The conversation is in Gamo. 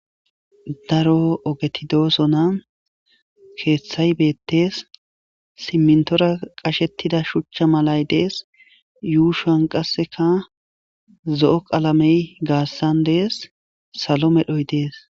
daro ogetidoosona keeththay beettees simmintora qashettida shuchcha malay dees yuushan qasseka zo7o qalamey gaassan dees salo medhoy dees